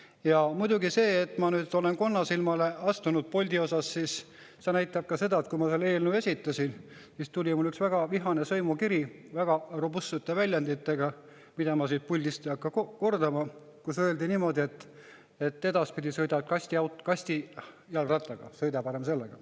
Ja muidugi seda, et ma olen Boltile konnasilmale astunud, näitab ka see, et kui ma selle eelnõu esitasin, siis tuli mulle üks väga vihane sõimukiri väga robustsete väljenditega, mida ma siit puldist ei hakka kordama, kus öeldi niimoodi, et edaspidi sõida parem kastijalgrattaga.